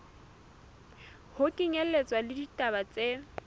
ho kenyelletswa le ditaba tse